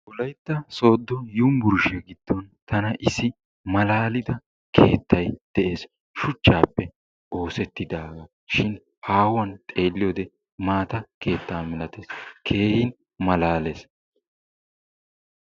Wolaytta sodo unburshiyaa giddon tana issi malalidda kettay de'es, shuchappe osettidaga shin hahuwan xeliyode matta ketta malattes, kehin malalees.